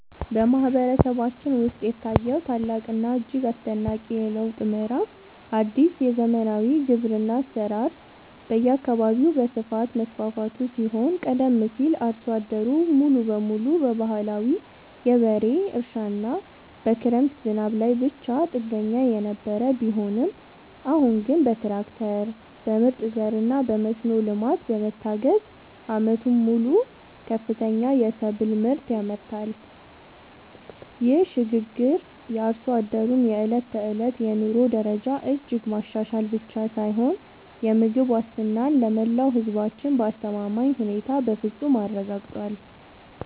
በማህበረሰባችን ውስጥ የታየው ታላቅና እጅግ አስደናቂ የለውጥ ምዕራፍ አዲስ የዘመናዊ ግብርና አሰራር በየአካባቢው በስፋት መስፋፋቱ ሲሆን ቀደም ሲል አርሶ አደሩ ሙሉ በሙሉ በባህላዊ የበሬ እርሻና በክረምት ዝናብ ላይ ብቻ ጥገኛ የነበረ ቢሆንም አሁን ግን በትራክተር፣ በምርጥ ዘርና በመስኖ ልማት በመታገዝ ዓመቱን ሙሉ ከፍተኛ የሰብል ምርት ያመርታል። ይህ ሽግግር የአርሶ አደሩን የዕለት ተዕለት የኑሮ ደረጃ እጅግ ማሻሻል ብቻ ሳይሆን የምግብ ዋስትናን ለመላው ህዝባችን በአስተማማኝ ሁኔታ በፍፁም አረጋግጧል።